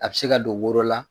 A bɛ se ka don woro la